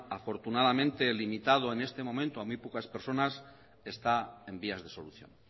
afortunadamente limitado en este momento a muy pocas personas está en vías de solución